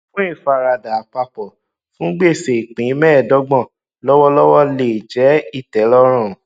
fún ìfaradà àpapọ fún gbèsè ìpín mẹẹdọgbọn lọwọlọwọ lè jẹ ìtẹlọrùn